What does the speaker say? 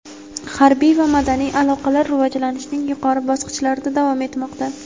harbiy va madaniy aloqalar rivojlanishning yuqori bosqichlarida davom etmoqda.